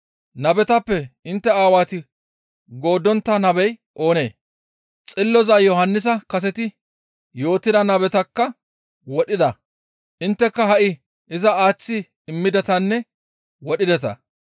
Nabetappe intte Aawati gooddontta nabey oonee? Xilloza Yohannisa kaseti yootida nabetakka wodhida; intteka ha7i iza aaththi immidetanne wodhideta.